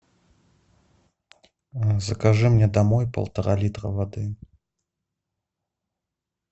закажи мне домой полтора литра воды